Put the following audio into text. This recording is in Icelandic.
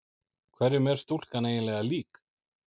Hverjum er stúlkan eiginlega lík?